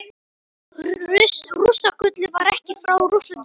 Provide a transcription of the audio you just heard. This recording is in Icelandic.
Rússagullið var ekki frá Rússlandi komið.